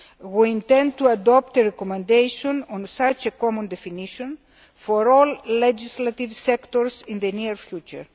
We intend to adopt a recommendation on such a common definition for all legislative sectors in the near future.